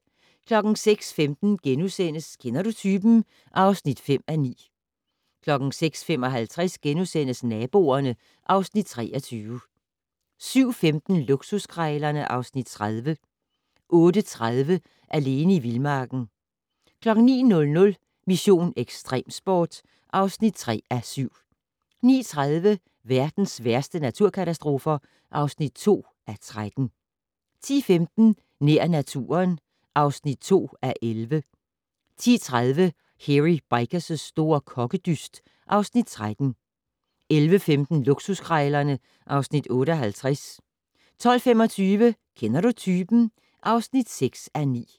06:15: Kender du typen? (5:9)* 06:55: Naboerne (Afs. 23)* 07:15: Luksuskrejlerne (Afs. 30) 08:30: Alene i vildmarken 09:00: Mission: Ekstremsport (3:7) 09:30: Verdens værste naturkatastrofer (2:13) 10:15: Nær naturen (2:11) 10:30: Hairy Bikers' store kokkedyst (Afs. 13) 11:15: Luksuskrejlerne (Afs. 58) 12:25: Kender du typen? (6:9)